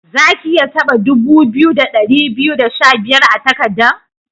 Zaki iya taba dubu biyu, da dari biyu da sha biyar a'takadan?